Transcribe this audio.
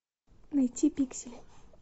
найти пиксели